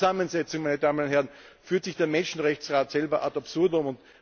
In dieser Zusammensetzung, meine Damen und Herren, führt sich der Menschenrechtsrat selbst ad absurdum.